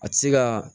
A ti se ka